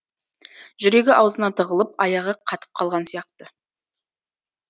жүрегі аузына тығылып аяғы қатып қалған сияқты